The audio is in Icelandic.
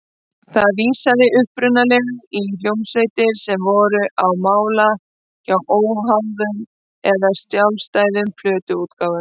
Það vísaði upprunalega í hljómsveitir sem voru á mála hjá óháðum eða sjálfstæðum plötuútgáfum.